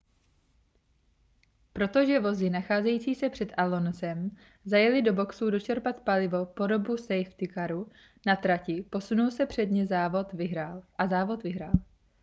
protože vozy nacházející se před alonsem zajely do boxů dočerpat palivo po dobu safety caru na trati posunul se před ně a závod vyhrál